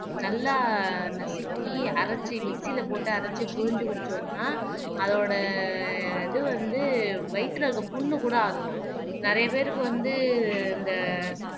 நல்லா நசுக்கி அரைச்சு மிக்ஸியில போட்டு அரைச்சு பிழிஞ்சு குடிச்சோம்ன்னா அதோட இது வந்து வயித்துல இருக்கிற புண்ணு கூட ஆத்தும். நிறைய பேருக்கு வந்து இந்த